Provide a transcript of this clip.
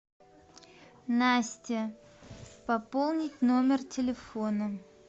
настя пополнить номер телефона